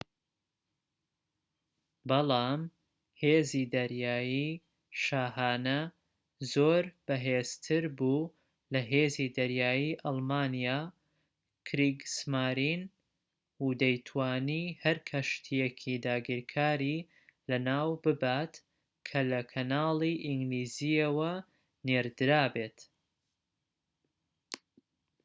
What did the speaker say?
بەڵام هێزی دەریایی شاهانە زۆر بەهێزتر بوو لە هێزی دەریایی ئەڵمانیا کریگسمارین و دەیتوانی هەر کەشتییەکی داگیرکاری لەناو ببات کە لە کەناڵی ئینگلیزییەوە نێردرابێت